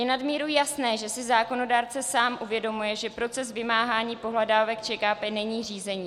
Je nadmíru jasné, že si zákonodárce sám uvědomuje, že proces vymáhání pohledávek ČKP není řízení.